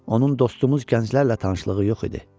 Onun dostumuz gənclərlə tanışlığı yox idi.